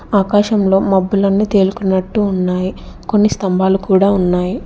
ఆకాశంలో మబ్బులన్నీ తేలుకున్నట్టు ఉన్నాయి కొన్ని స్తంభాలు కూడా ఉన్నాయి.